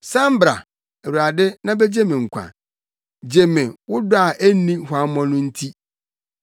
San bra, Awurade, na begye me nkwa; gye me, wo dɔ a enni nhuammɔ no nti.